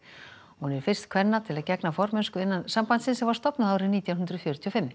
hún er fyrst kvenna til að gegna formennsku innan sambandsins sem var stofnað árið nítján hundruð fjörutíu og fimm